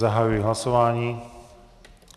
Zahajuji hlasování.